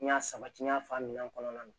N y'a sabati n y'a fɔ a minɛn kɔnɔna na